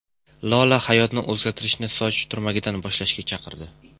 Lola hayotni o‘zgartirishni soch turmagidan boshlashga chaqirdi.